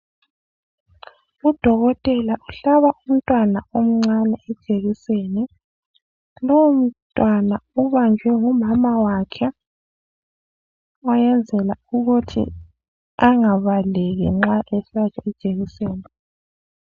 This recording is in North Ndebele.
Udokotela uhlaba umntwana omncane ijekiseni. Lowo mntwana ubanjwe ngumamawakhe oyenzela ukuthi angabaleki nxa ehlatshwa nxa ehlatshwa ijekiseni.